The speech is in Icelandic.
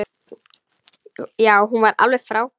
Já, hún var alveg frábær!